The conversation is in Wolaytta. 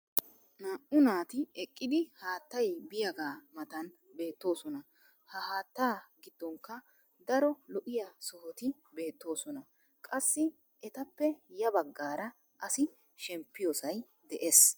Naa'u naati eqqidi haatay biyaagaa matan beetoosona. ha haattaa giddonkka daro lo'iya sohoti beetoosona. Qassi etappe ya bagaara asi shempiyoosay de'es.